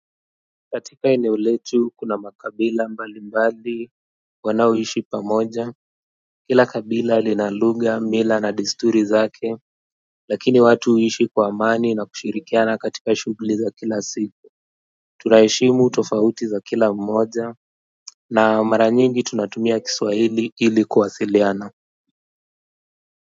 Katika eneo letu kuna makabila mbali mbali wanaoishi pamoja kila kabila lina luga mila na desturi zake lakini watu huishi kwa amani na kushirikiana katika shugli za kila siku. Tunaheshimu tofauti za kila mmoja na mara nyingi tunatumia kiswahili ili kuwasiliana.